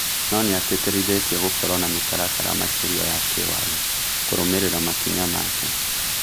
Nonĩa tĩtĩrithĩtie gũkorwo na mũtaratara makĩria ya kĩwatho kũrũmĩrĩra makinya make